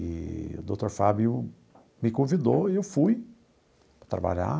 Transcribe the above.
Eee o doutor Fábio me convidou e eu fui trabalhar